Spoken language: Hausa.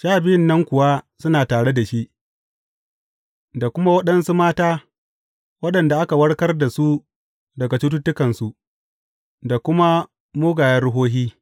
Sha Biyun nan kuwa suna tare da shi, da kuma waɗansu mata waɗanda aka warkar da su daga cututtukansu, da kuma mugayen ruhohi.